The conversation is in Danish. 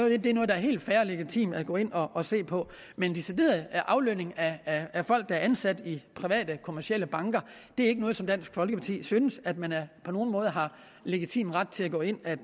er helt fair og legitimt at gå ind og se på men decideret aflønning af af folk der er ansat i private kommercielle banker er ikke noget som dansk folkeparti synes at man på nogen måde har legitim ret til at gå ind og